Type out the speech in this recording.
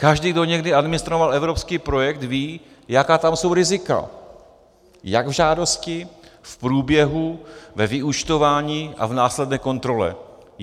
Každý, kdo někdy administroval evropský projekt, ví, jaká tam jsou rizika - jak v žádosti, v průběhu, ve vyúčtování a v následné kontrole.